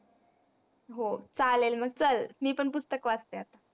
हो चालेल मग चल मी पण पुस्तक वाचते आता.